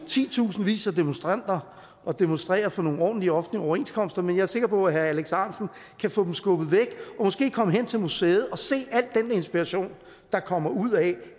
titusindvis af demonstranter og demonstrerer for nogle ordentlige offentlige overenskomster men jeg er sikker på at herre alex ahrendtsen kan få dem skubbet væk og måske komme hen til museet og se al den inspiration der kommer ud af